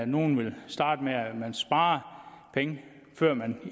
nogle ville starte med at spare penge før man